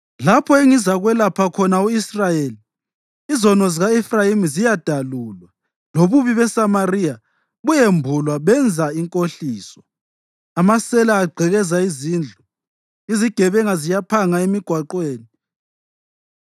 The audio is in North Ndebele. Lapho engizakwelapha khona u-Israyeli, izono zika-Efrayimi ziyadalulwa lobubi beSamariya buyembulwa. Benza inkohliso, amasela agqekeza izindlu, izigebenga ziyaphanga emigwaqweni